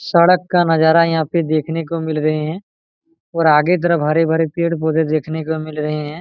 सड़क का नजारा यहां पर देखने को मिल रहे हैं और आगे तरफ हरे-भरे पर पौधे देखने को मिल रहे हैं।